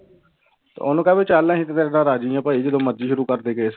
ਤੇ ਉਹਨੂੰ ਕਹਿ ਵੀ ਚੱਲ ਅਸੀਂ ਤਾਂ ਤੇਰੇ ਤੋਂ ਰਾਜੀ ਹਾਂ ਭਾਈ ਜਦੋਂ ਮਰਜ਼ੀ ਸ਼ੁਰੂ ਕਰਦੇ ਕੇਸ।